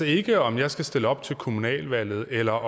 ikke om jeg skal stille op til kommunalvalget eller